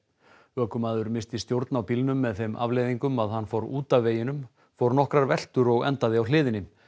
ökumaður missti stjórn á bílnum með þeim afleiðingum að hann fór út af veginum fór nokkrar veltur og endaði á hliðinni